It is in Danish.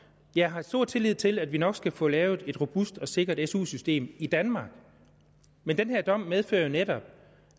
jeg har stor tillid til at vi nok skal få lavet et robust og sikkert su system i danmark men den her dom medfører jo netop